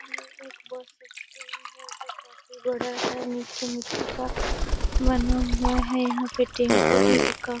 ये एक bus stand है जो काफी बड़ा है मिट्टी-मिट्टी का बना हुआ है यहाँ पे टेम्पू भी रुका --